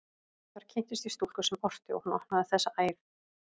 Þar kynntist ég stúlku sem orti, og hún opnaði þessa æð.